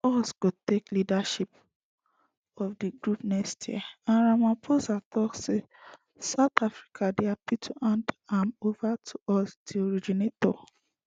us go take leadership of di group next year and ramaphosa tok say south africa dey happy to hand am ova to us di originators